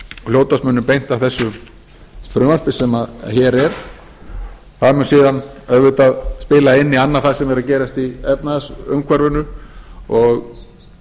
hljótast munu beint af þessu frumvarpi sem hér er það mun síðan auðvitað spila inn í annað það sem er að gerast í efnahagsumhverfinu og